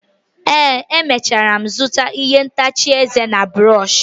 ee, emechara m zụta ihe ntacha eze ya na brọsh